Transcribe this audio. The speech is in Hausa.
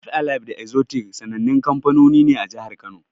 Five alive da Exotic sanannun kamfanoni ne a jihar Kano.